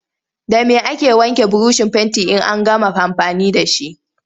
Da me ake wanke burushin fentin in an gama amfani da shi?